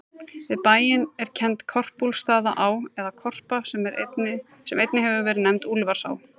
Við bæinn er kennd Korpúlfsstaðaá, eða Korpa, sem einnig hefur verið nefnd Úlfarsá.